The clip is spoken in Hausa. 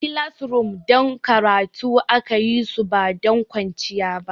Classrooms don karatu aka yi su ba don kwanciya ba.